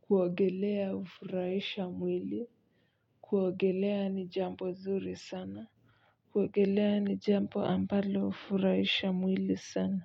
kuogelea hufurahisha mwili kuogelea ni jambo zuri sana kuogelea ni jambo ambalo hufurahisha mwili sana.